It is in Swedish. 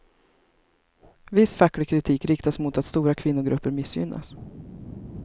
Viss facklig kritik riktas mot att stora kvinnogrupper missgynnas.